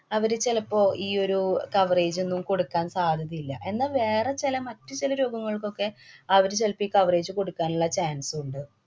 അവര് ചെലപ്പോ ഈയൊരു coverage ഒന്നും കൊടുക്കാന്‍ സാധ്യതയില്ല. എന്നാ വേറെ ചില മറ്റു ചില രോഗങ്ങള്‍ക്കൊക്കെ അവര് ചെലപ്പം ഈ coverage കൊടുക്കാനുള്ള chance ഉണ്ട്